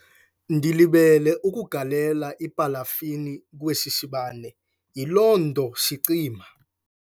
Ndilibele ukugalela ipalafini kwesi sibane, yiloo nto sicima.